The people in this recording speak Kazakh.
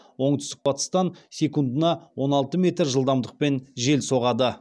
оңтүстік батыстан секундына он алты метр жылдамдықпен жел соғады